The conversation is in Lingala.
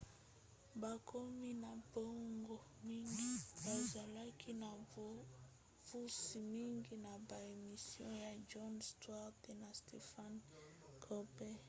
bakomi na bango mingi bazalaki na bopusi mingi na ba emission ya jon stewart na stephen colbert